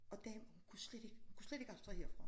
Og damen kunne slet ikke kunne slet ikke abstrahere fra ham